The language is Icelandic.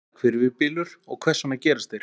Hvað er hvirfilbylur og hvers vegna gerast þeir?